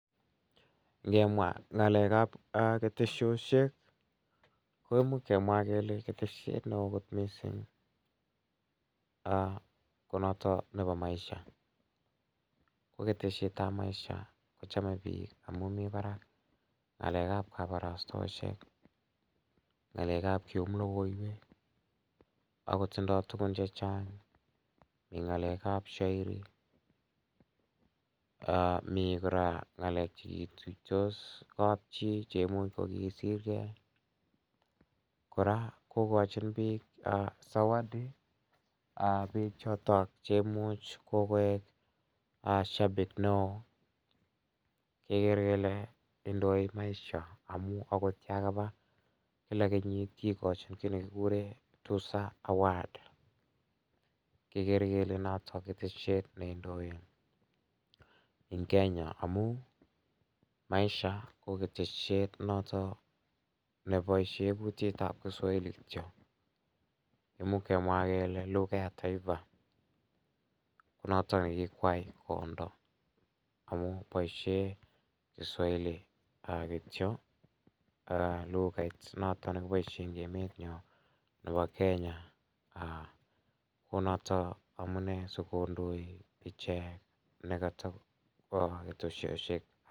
Ngemwa ng'alekab ketesioshek koimuuch kemwa kele keteshiet ne oo kot mising' ko noto nebo maisha ko keteshietab maisha kochomei biik amu mi barak ng'alekab kabarastaoshek ng'alekab keum lokoiwek oko tindoi tukun chechang' eng' ng'alekab shauri mi ng'alekab kora cheketuitos kapchii cheimuuch kokisirgei kora kokochin biik zawadi ab biik chotok cheimuchei kokoek shabiki ne oo kekere kele indoi maisha amu akot yo kaba kila kenyit kikochin kii nekikure tuza award kekere kele noto keteshiet neindoi ing' Kenya amu maisha ko keteshet noto neboishe kutitab Kiswahili kityo imuuch kemwa kele lugha ya taifa ko notok nekikwai kondo amu boishe Kiswahili kityo lukaiut noto nekiboishe eng' emenyo nebo kenya ko noto amune sikondoi iche nekata bo ketesioshek